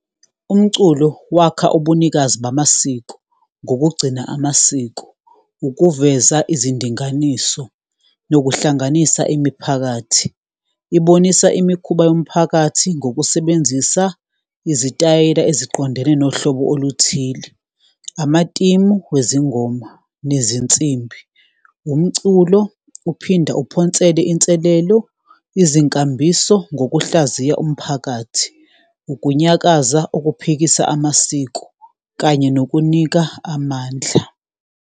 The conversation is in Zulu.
Umculo wakha ubunikazi bamasiko, ngokugcina amasiko. Ukuveza izindinganiso nokuhlanganisa imiphakathi, ibonisa imikhuba yomphakathi ngokusebenzisa izitayela eziqondene nohlobo oluthile, amatimu ezingoma nezinsimbi. Umculo uphinde umphonsele inselelo izinkambiso ngokuhlaziya umphakathi, ukunyakaza, okuphikisa amasiko kanye nokunika amandla.